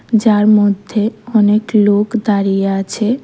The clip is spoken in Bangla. যার মধ্যে অনেক লোক দাঁড়িয়ে আছে।